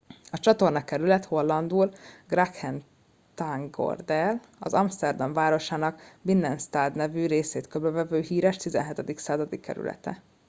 a csatornakerület hollandul: grachtengordel az amszterdam városának binnenstad nevű részét körbevevő híres 17. századi kerülete